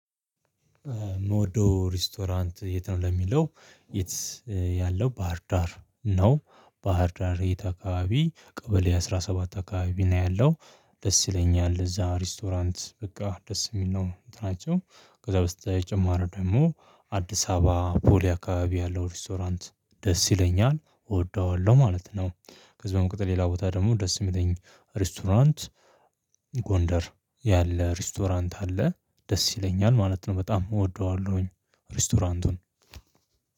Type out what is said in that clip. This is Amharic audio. የምወደው ሬስቶራንት የት ነው? ለሚለው የት ያለው ባህርዳር ነው ባሀር ዳር የት አከባቢ ቀበሌ አስራ ሰባት አካባቢ ነው ያለው። ደስ ይለኛል እዛ ሬስቶራንት በቃ ደስ የሚል ነው እንትን ናቸው። ከዛ በስተጨማሪው ደግሞ አዲስ አበባ ፖሊ አካባቢ ያለው ሬስቶራንት ደስ ይለኛል እወደዋለሁ ማለት ነው። ከዚህ በምቀጠል ሌላ ቦታ ደግሞ ደስ የሚለኝ ሬስቶራንት። ጎንደር ያለ ሬስቶራንት አለ ደስ ይለኛል ማለት ነው በጣም እወደዋለሁኝ። ሬስቶራንቱን